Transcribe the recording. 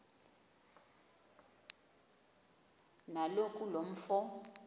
kaloku lo mfo